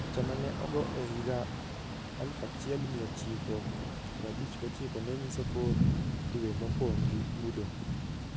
Picha ma ne ogor e higa 1959 ne nyiso kor dwe mopong' gi mudho.